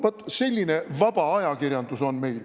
Vot selline vaba ajakirjandus on meil.